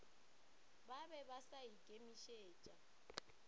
ba be ba sa ikemišetša